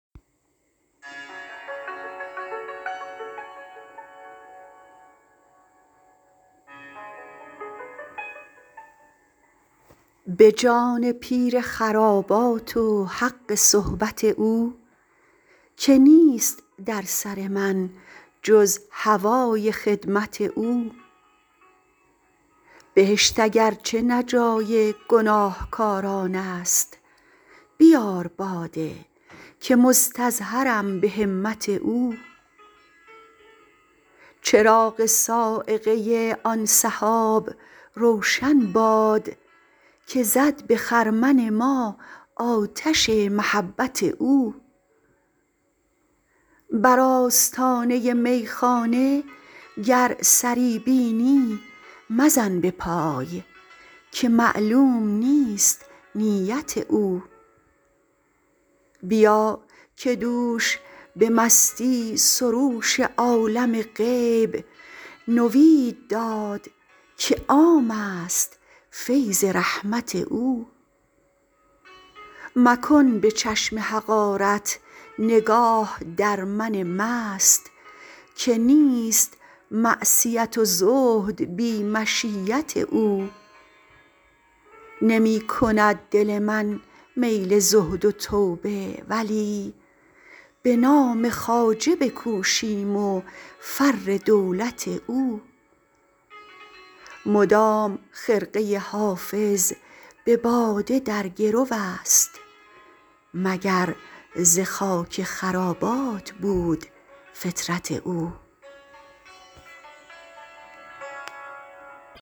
به جان پیر خرابات و حق صحبت او که نیست در سر من جز هوای خدمت او بهشت اگر چه نه جای گناهکاران است بیار باده که مستظهرم به همت او چراغ صاعقه آن سحاب روشن باد که زد به خرمن ما آتش محبت او بر آستانه میخانه گر سری بینی مزن به پای که معلوم نیست نیت او بیا که دوش به مستی سروش عالم غیب نوید داد که عام است فیض رحمت او مکن به چشم حقارت نگاه در من مست که نیست معصیت و زهد بی مشیت او نمی کند دل من میل زهد و توبه ولی به نام خواجه بکوشیم و فر دولت او مدام خرقه حافظ به باده در گرو است مگر ز خاک خرابات بود فطرت او